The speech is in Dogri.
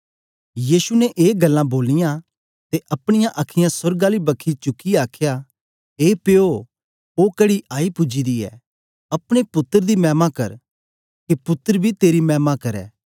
यीशु ने ए गल्लां बोलियां ते अपनीयां अखीयाँ सोर्ग आली बखी चुकियै आखया ए प्यो ओ कड़ी आई पूजी दी ऐ अपने पुत्तर दी मैमा कर के पुत्तर बी तेरी मैमा करै